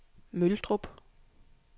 Møldrup